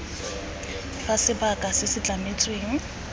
fa sebaka se se tlametsweng